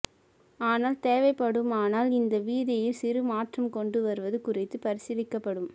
ஆனால் தேவைப்படுமானால் இந்த விதியில் சிறு மாற்றம் கொண்டு வருவது குறித்து பரிசீலிக்கப்படும்